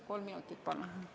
Kolm minutit juurde, palun!